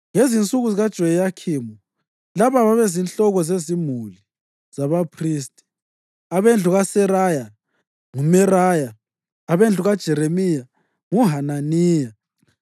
Ngezinsuku zikaJoyakhimu, laba babezinhloko zezimuli zabaphristi: abendlu kaSeraya, nguMeraya; abendlu kaJeremiya nguHananiya;